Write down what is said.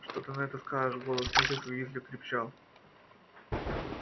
что ты на это скажешь голос миссис уизли крепчал